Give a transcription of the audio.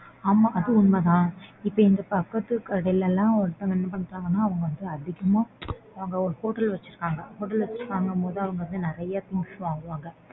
ஆமா அது உண்மைதான் இப்போ எங்க பக்கத்து கடைலலாம் ஒருத்தவங்க என்ன பண்றாங்க ன்னா அவங்க வந்து அதிகமா அவங்க ஒரு hotel வெச்சுருக்காங்க. hotel வெச்சுருகாங்க ங்கும் போது அவங்க வந்து நறைய things வாங்குவாங்க.